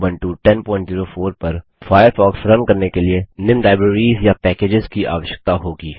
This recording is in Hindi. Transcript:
उबंटू 1004 पर फ़ायरफ़ॉक्स रन करने के लिए निम्न लाइब्ररीज़ या पैकेज्स की आवश्यकता होगी